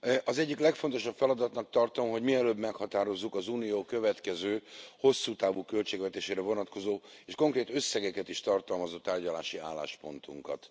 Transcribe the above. Az egyik legfontosabb feladatnak tartom, hogy mielőbb meghatározzuk az Unió következő hosszú távú költségvetésére vonatkozó, és konkrét összegeket is tartalmazó tárgyalási álláspontunkat.